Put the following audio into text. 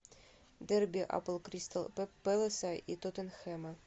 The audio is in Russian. дерби апл кристал пэласа и тоттенхэма